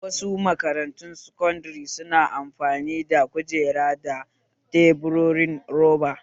Wasu makarantun sakandare su na amfani da kujera da teburin roba